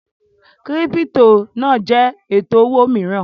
Kírípítò náà jẹ́ ètò owó mìíràn